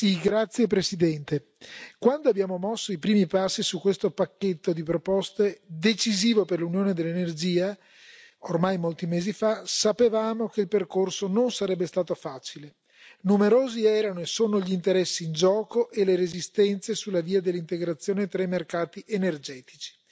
Signor Presidente, onorevoli colleghi, quando abbiamo mosso i primi passi su questo pacchetto di proposte decisivo per l'unione dell'energia, ormai molti mesi fa, sapevamo che il percorso non sarebbe stato facile. Numerosi erano e sono gli interessi in gioco e le resistenze sulla via dell'integrazione tra i mercati energetici.